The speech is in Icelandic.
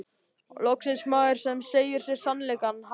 Loksins maður sem segir mér sannleikann, ha?